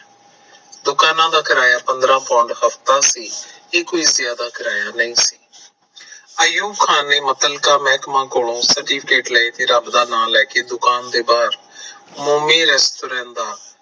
ਦੁਕਾਨਾਂ ਦਾ ਕਿਰਾਇਆ ਪੰਦਰਾ Pound ਹਫਤਾ ਸੀ ਇਹ ਕੋਈ India ਦਾ ਕਿਰਾਇਆ ਨਹੀਂ ਸੀ ਆਯੂਬ ਖਾਨ ਨੇ ਮਤਲਿਕਾ ਮਹਿਕਮੇ ਕੋਲੋਂ certificate ਲਏ ਤੇ ਦੁਕਾਨ ਤੋਂ ਬਾਹਰ ਮੋਮੀ restaurant ਦਾ